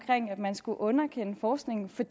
at man skulle underkende forskningen for